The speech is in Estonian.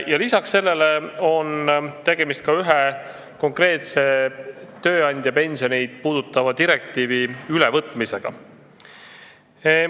Peale selle on tegemist ühe konkreetse, tööandja pensioneid puudutava direktiivi ülevõtmisega.